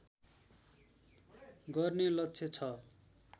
गर्ने लक्ष्य छ